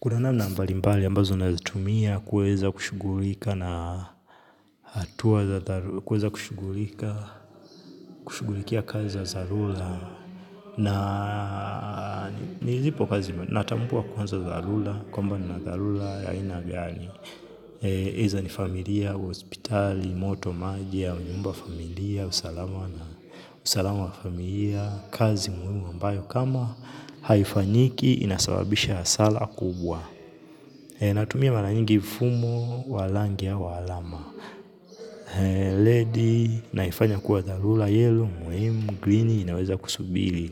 Kuna namna mbali mbali ambazo nazitumia kuweza kushughulika na hatua kushugulika kushugulikia kazi za dharura na nilipo kazi natambua kwanza za dharura kwamba nina dharura ya aina gani. Either ni familia, hospitali, moto, maji au nyumba familia, usalama na usalama wa familia, kazi muhimu ambayo kama haifanyiki inasababisha hasara kubwa. Natumia mara nyingi fumo wa rangi au wa alama Red naifanya kuwa dharura yellow, muhimu, greeni, naweza kusubiri.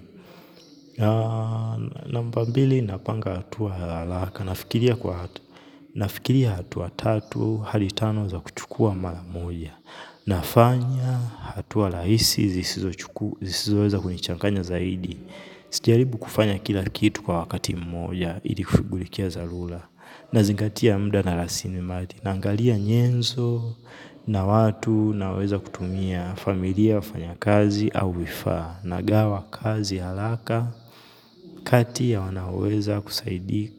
Namba mbili napanga hatua haraka. Nafikiria hatua tatu hadi tano za kuchukua mara moja. Nafanya hatua rahisi, zisizoweza kunichanganya zaidi. Sijaribu kufanya kila kitu kwa wakati mmoja, ili kushughulikia dharura. Nazingatia muda na rasilimali naangalia nyenzo na watu naweza kutumia familia wafanyakazi au vifaa nagawa kazi haraka kati ya wanaoweza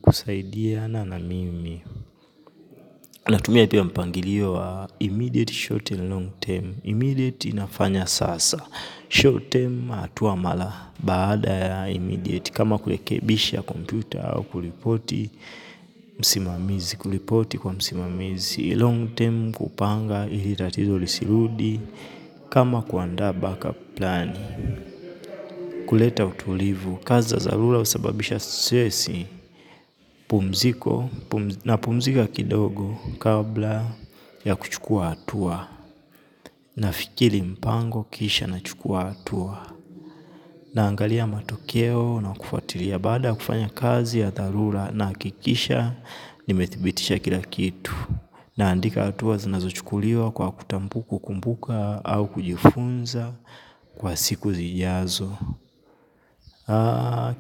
kusaidiana na mimi. Natumia pia mpangilio wa immediate short and long term. Immediate inafanya sasa. Short term hatua mara baada ya immediate. Kama kurekebisha kompyuta au kuripoti msimamizi. Kuripoti kwa msimamizi. Long term kupanga ili tatizo lisirudi. Kama kuandaa backup plan. Kuleta utulivu, kazi za dharura husababisha stresi, pumziko napumzika kidogo kabla ya kuchukua hatua, nafikiri mpango kisha nachukua hatua, naangalia matokeo na kufuatilia baada ya kufanya kazi ya dharura nahakikisha nimethibitisha kila kitu, naandika hatua zinazochukuliwa kwa kumbuka au kujifunza kwa siku zijazo.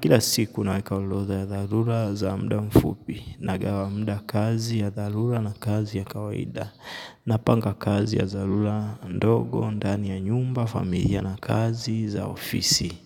Kila siku naweka orodha ya dharura za muda mfupi nagawa muda kazi ya dharura na kazi ya kawaida. Napanga kazi ya dharura ndogo, ndani ya nyumba, familia na kazi, za ofisi.